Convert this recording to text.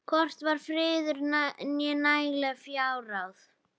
Hvorki var friður né nægileg fjárráð.